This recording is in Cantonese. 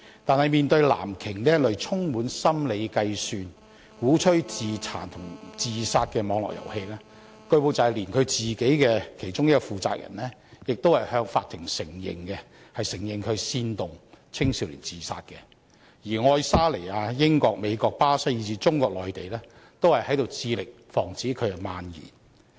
但是，面對"藍鯨"這類充滿心理計算，鼓吹自殘和自殺的網絡遊戲，據報連其中一個負責人亦已向法庭承認煽動青少年自殺，而愛沙尼亞、英國、美國、巴西以至中國內地亦在致力防止這遊戲蔓延。